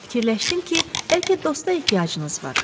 Fikirləşdim ki, bəlkə dosta ehtiyacınız var.